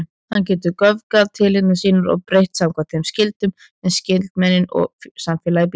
Hann getur göfgað tilhneigingar sínar og breytt samkvæmt þeim skyldum sem skynsemin og samfélagið býður.